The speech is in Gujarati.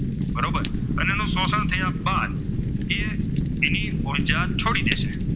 એની ઉર્જા છોડી દેશે.